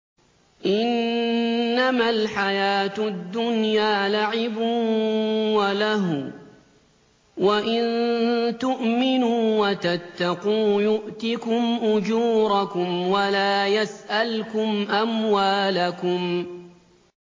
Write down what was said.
إِنَّمَا الْحَيَاةُ الدُّنْيَا لَعِبٌ وَلَهْوٌ ۚ وَإِن تُؤْمِنُوا وَتَتَّقُوا يُؤْتِكُمْ أُجُورَكُمْ وَلَا يَسْأَلْكُمْ أَمْوَالَكُمْ